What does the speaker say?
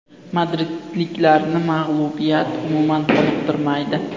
Madridliklarni mag‘lubiyat umuman qoniqtirmaydi.